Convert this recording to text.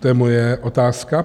To je moje otázka.